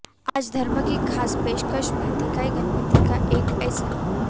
आज धर्म की खास पेशकश में देखिए गणपति का एक ऐसा